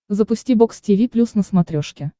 запусти бокс тиви плюс на смотрешке